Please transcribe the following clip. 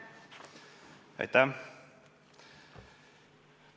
Aitäh!